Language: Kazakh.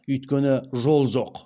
өйткені жол жоқ